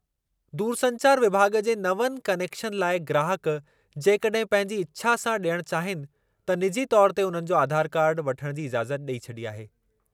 दूरसंचार विभाॻ जे नवनि क्नेकशन लाइ ग्राहक जेकॾहिं पंहिंजी इछा सां ॾियण चाहीनि, त निजी तौर ते उन्हनि जो आधार कार्डु वठण जी इज़ाज़त ॾेई छॾी आहे।